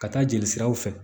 Ka taa jeli siraw fɛ